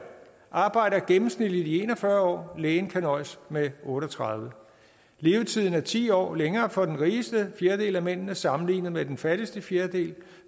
arbejder gennemsnitligt i en og fyrre og lægen kan nøjes med otte og tredive år levetiden er ti år længere for den rigeste fjerdedel af mændene sammenlignet med den fattigste fjerdedel